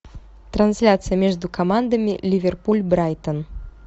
трансляция между командами ливерпуль брайтон